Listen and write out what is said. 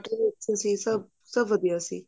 ਤੁਸੀਂ ਸਭ ਸਭ ਵਧੀਆ ਸੀ